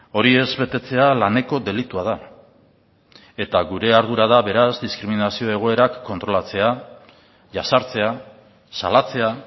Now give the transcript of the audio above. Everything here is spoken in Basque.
hori ez betetzea laneko delitua da eta gure ardura da beraz diskriminazio egoerak kontrolatzea jazartzea salatzea